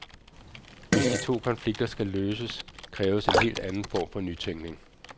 Hvis de to konflikter skal løses, kræves en helt anden form for nytænkning.